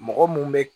Mɔgɔ mun bɛ